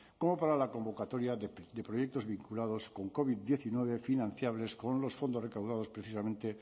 como para la convocatoria de proyectos vinculados con covid diecinueve financiables con los fondos recaudados precisamente